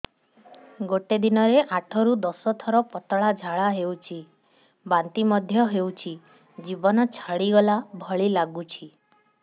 ଗୋଟେ ଦିନରେ ଆଠ ରୁ ଦଶ ଥର ପତଳା ଝାଡା ହେଉଛି ବାନ୍ତି ମଧ୍ୟ ହେଉଛି ଜୀବନ ଛାଡିଗଲା ଭଳି ଲଗୁଛି